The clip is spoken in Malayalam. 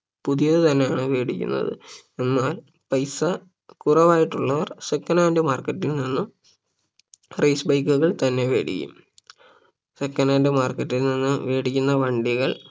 പുതിയത് തന്നെയാണ് വേടിക്കുന്നത് എന്നാൽ പൈസ കുറവായിട്ടുള്ളവർ second hand market ൽ നിന്നും race bike കൾ തന്നെ വേടിക്കും second hand market ൽ നിന്നും വേടിക്കുന്ന വണ്ടികൾ